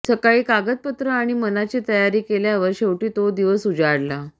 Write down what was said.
सगळी कागदपत्र आणि मनाची तयारी केल्यावर शेवटी तो दिवस उजाडला